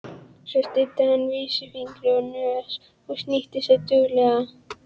Svo studdi hann vísifingri á nös og snýtti sér duglega.